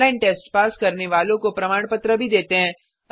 online test pass करने वालों को प्रमाणपत्र देते हैं